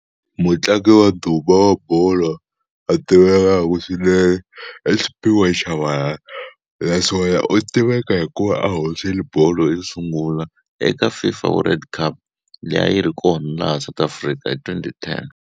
Mutlangi wa ndhuma wa bolo a tiveku swinene i Sphiwe Tshabalala naswona u tiveka hi ku va a hoxile bolo yo sungula eka FIFA World Cup leyi a yi ri kona laha South Africa hi twenty ten.